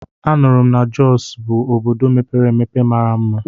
A nụrụ m na Jọs obodo mepere emepe mara mma.